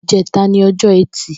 Ijẹ̀tá ni ọjọ ẹti